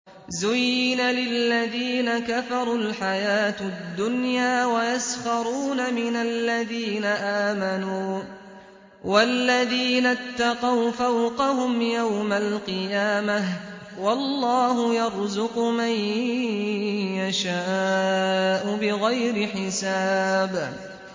زُيِّنَ لِلَّذِينَ كَفَرُوا الْحَيَاةُ الدُّنْيَا وَيَسْخَرُونَ مِنَ الَّذِينَ آمَنُوا ۘ وَالَّذِينَ اتَّقَوْا فَوْقَهُمْ يَوْمَ الْقِيَامَةِ ۗ وَاللَّهُ يَرْزُقُ مَن يَشَاءُ بِغَيْرِ حِسَابٍ